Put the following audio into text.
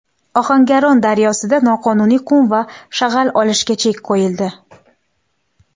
Ohangaron daryosida noqonuniy qum va shag‘al olishga chek qo‘yildi.